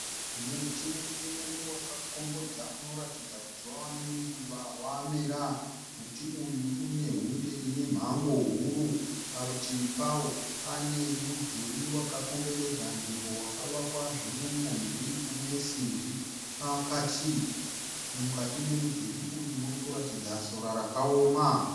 Muti mukuru wakakombodza unoratidza kuti wava ne nguva wamera. Muti uyu une hunde ine mhango huru. Parutivi pawo pane mudhuri waka komberedza nzvimbo wakavakwa zvine unyanzvi unesimbi pakati. Mukati memudhuri uyu murikuratidza sora rakaoma.